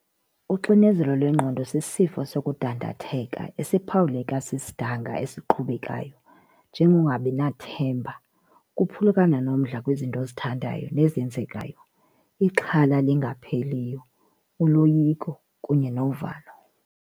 Uxinezelo lwengqondo sisifo sokudandatheka esiphawuleka sisidanga esiqhubayo njengongabinathemba, ukuphulukana nomdla kwizinto ozithandayo nezenzekayo, ixhala elingapheliyo, uloyiko kunye novalo.